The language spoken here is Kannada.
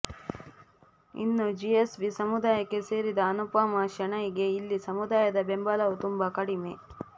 ಇನ್ನು ಜಿಎಸ್ ಬಿ ಸಮುದಾಯಕ್ಕೆ ಸೇರಿದ ಅನುಪಮಾ ಶಣೈ ಗೆ ಇಲ್ಲಿ ಸಮದಾಯದ ಬೆಂಬಲವೂ ತುಂಬ ಕಡಿಮೆ